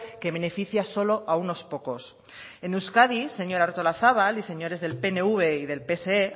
que beneficia solo a unos pocos en euskadi señora artolazabal y señores del pnv y del pse